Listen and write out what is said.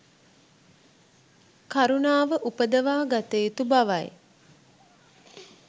කරුණාව උපදවා ගත යුතු බවයි.